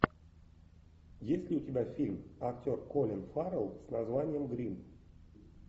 есть ли у тебя фильм актер колин фаррелл с названием гримм